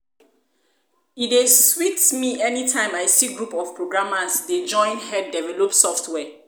e dey sweet me anytime I see group of programmers dey join head develop software